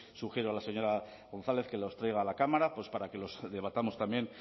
sugiero a la señora gonzález que los traiga a la cámara para que los debatamos también